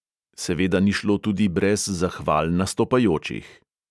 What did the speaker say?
Seveda ni šlo tudi brez zahval nastopajočih.